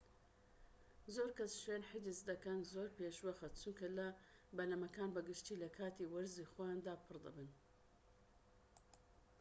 زۆرکەس شوێن حیجز دەکەن زۆر پێشوەخت چونکە بەلەمەکان بە گشتی لەکاتی وەرزی خۆیاندا پڕ دەبن